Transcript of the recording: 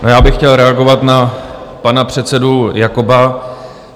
Já bych chtěl reagovat na pana předsedu Jakoba.